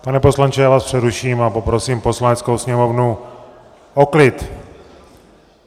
Pane poslanče, já vás přeruším a poprosím Poslaneckou sněmovnu o klid!